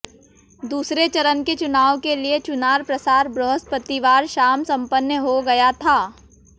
दूसरे चरण के चुनाव के लिए चुनाव प्रचार बृहस्पतिवार शाम संपन्न हो गया था